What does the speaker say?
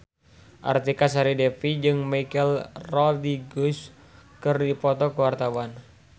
Artika Sari Devi jeung Michelle Rodriguez keur dipoto ku wartawan